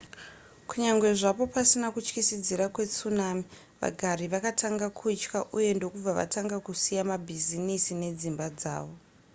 kunyangwe zvapo pasina kutyisidzira kwetsunami vagari vakatanga kutya uye ndokubva vatanga kusiya mabhizinesi nedzimba dzavo